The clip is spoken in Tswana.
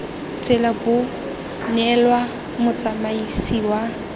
tsela bo neelwa motsamaisi wa